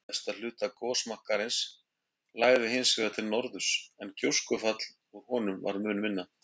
Efsta hluta gosmakkarins lagði hins vegar til norðurs, en gjóskufall úr honum var mun minna.